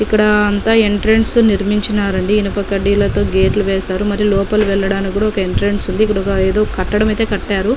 ఇక్కడ అంత ఎంట్రన్స్ నిర్మించినారండి ఇనుప కడ్డీలతో గేట్లు వేశారు మరియు లోపల వెళ్ళడానికి కూడా ఒక ఎంట్రన్స్ ఉంది ఇక్కడ ఏదో కట్టడం అయితే కట్టారు.